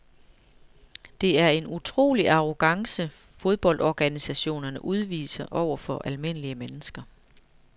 Det er en utrolig arrogance fodboldorganisationerne udviser over for almindelige mennesker.